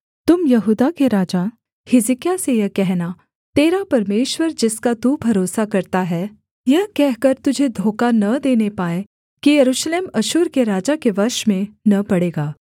तुम यहूदा के राजा हिजकिय्याह से यह कहना तेरा परमेश्वर जिसका तू भरोसा करता है यह कहकर तुझे धोखा न देने पाए कि यरूशलेम अश्शूर के राजा के वश में न पड़ेगा